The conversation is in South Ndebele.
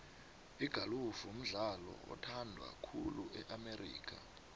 igolufu mdlalo oyhandwa khulu e amerika